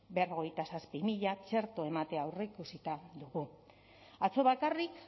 berrogeita zazpi mila txerto ematea aurreikusita dugu atzo bakarrik